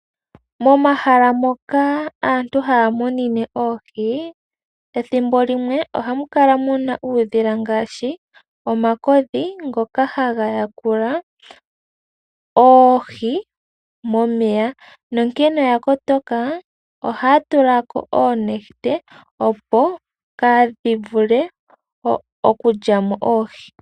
MOmahala moka aantu haya munine oohi, ethimbo limwe ohamu kala mu na uudhila ngaashi omakodhi ngoka haga yakula oohi momeya nonkene oya kotoka, ohaya tulako oonete opo kaa dhi vule okulyamo oohi.